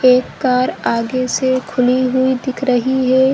एक कार आगे से खुली हुई दिख रही है।